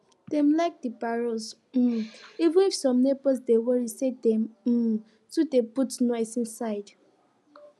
dem like de parols um even if some neighbors dey worry say dem um too dey put nose inside